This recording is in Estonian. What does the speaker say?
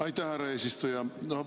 Aitäh, härra eesistuja!